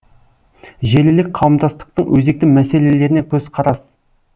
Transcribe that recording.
желілік қауымдастықтың өзекті мәселелеріне көзқарас